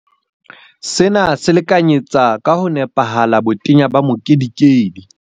Sena se lekanyetsa ka ho nepahala botenya ba mokedikedi.